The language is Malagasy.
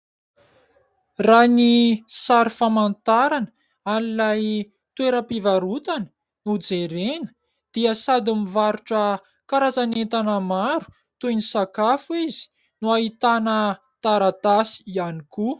Raha ny sary famantarana an'ilay toeram-pivarotana no jerena dia sady mivarotra karazan'entana maro toy ny sakafo izy no ahitana taratasy ihany koa.